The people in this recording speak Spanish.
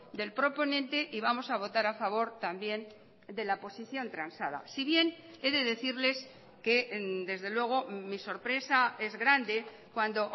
del proponente y vamos a votar a favor también de la posición transada si bien he de decirles que desde luego mi sorpresa es grande cuando